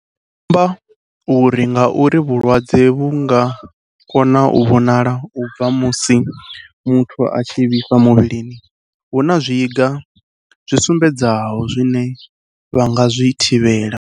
Vho amba uri ngauri vhulwadze vhu nga kona u vhonala u bva musi muthu a tshi vhifha muvhilini, hu na zwiga zwi sumbedzaho zwine vha nga zwi lavhelesa.